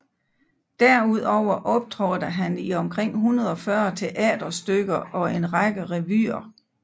Derudover optrådte han i omkring 140 teaterstykker og en række revyer